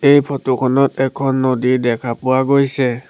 এই ফটো খনত এখন নদী দেখা পোৱা গৈছে।